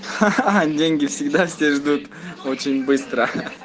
ха ха ха деньги всегда все ждут очень быстро